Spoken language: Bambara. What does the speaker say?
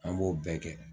An b'o bɛɛ kɛ